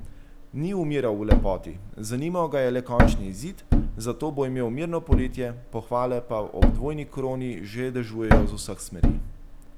Ni umiral v lepoti, zanimal ga je le končni izid, zato bo imel mirno poletje, pohvale pa ob dvojni kroni že dežujejo z vseh smeri.